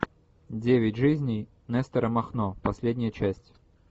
девять жизней нестора махно последняя часть